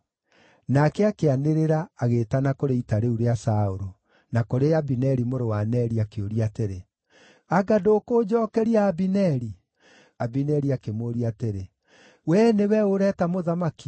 Nake akĩanĩrĩra, agĩĩtana kũrĩ ita rĩu rĩa Saũlũ, na kũrĩ Abineri mũrũ wa Neri, akĩũria atĩrĩ, “Anga ndũkũnjookeria, Abineri?” Abineri akĩmũũria atĩrĩ, “Wee nĩwe ũ ũreta mũthamaki?”